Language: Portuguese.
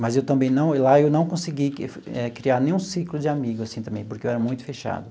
Mas eu também não, lá eu não consegui eh criar nenhum ciclo de amigos assim também, porque eu era muito fechado.